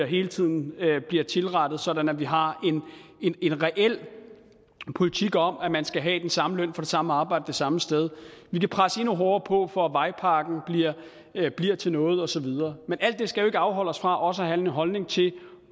hele tiden bliver tilrettet sådan at vi har en reel politik om at man skal have den samme løn for det samme arbejde det samme sted vi kan presse endnu hårdere på for at vejpakken bliver til noget og så videre men alt det skal jo ikke afholde os fra også at have en holdning til